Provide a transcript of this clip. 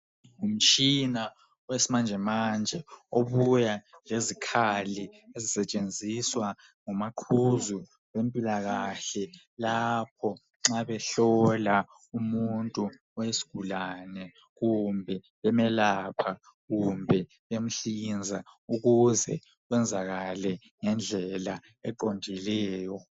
Umtshina wesimanjemanje obuya lezikhali ezisetshenziswa ngomaqhuzu bempilakahle lapho nxa behlola umuntu oyisgulane kumbe bemelapha kumbe bemhlinza ukuze kwenzakale ngendlela eqondileyo